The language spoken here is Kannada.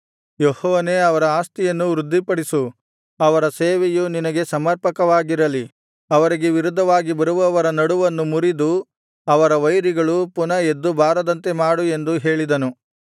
ಯೆಹೋವನೇ ಅವರ ಆಸ್ತಿಯನ್ನು ವೃದ್ಧಿಪಡಿಸು ಅವರ ಸೇವೆಯು ನಿನಗೆ ಸಮರ್ಪಕವಾಗಿರಲಿ ಅವರಿಗೆ ವಿರುದ್ಧವಾಗಿ ಬರುವವರ ನಡುವನ್ನು ಮುರಿದು ಅವರ ವೈರಿಗಳು ಪುನಃ ಎದ್ದು ಬಾರದಂತೆ ಮಾಡು ಎಂದು ಹೇಳಿದನು